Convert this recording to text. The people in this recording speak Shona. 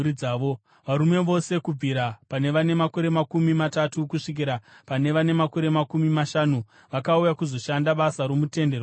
Varume vose kubvira pane vane makore makumi matatu kusvikira pane vane makore makumi mashanu vakauya kuzoshanda basa romuTende Rokusangana,